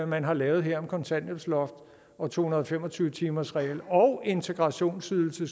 man har lavet her om kontanthjælpsloft og to hundrede og fem og tyve timersregel og integrationsydelse